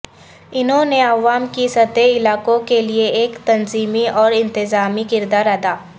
انہوں نے عوام کی سطح علاقوں کے لیے ایک تنظیمی اور انتظامی کردار ادا